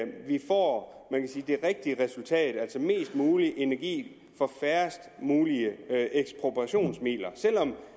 vi får det rigtige resultat altså mest mulig energi for færrest mulige ekspropriationsmidler selv om